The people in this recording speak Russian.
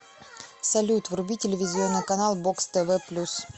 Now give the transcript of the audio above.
салют вруби телевизионный канал бокс тв плюс